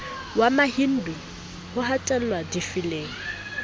wa mahindu ho hatellwa difeleng